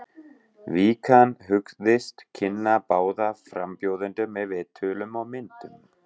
Vikan hugðist kynna báða frambjóðendur með viðtölum og myndum.